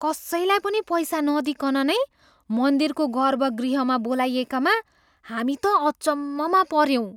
कसैलाई पनि पैसा नदिइकन नै मन्दिरको गर्भगृहमा बोलाइएकामा हामी त अचम्ममा पऱ्यौँ।